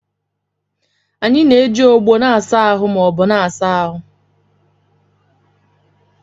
Anyị na-eji ogbo na-asa ahụ ma ọ bụ na-asa ahụ.